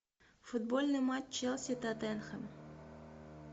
футбольный матч челси тоттенхэм